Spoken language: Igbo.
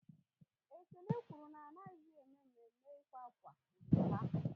Ekene kwụrụ na anaghịzi ème Mme mme ịkwa ákwá n'obodo ha